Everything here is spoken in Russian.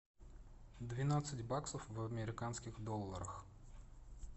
двенадцать баксов в американских долларах